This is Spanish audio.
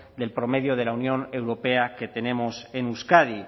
del promedio de la unión europea que tenemos en euskadi